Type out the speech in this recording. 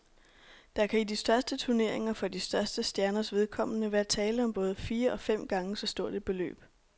Der kan i de største turneringer for de største stjerners vedkommende være tale om både fire og fem gange så stort et beløb.